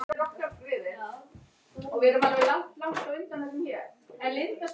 Runólfur, hvað er að frétta?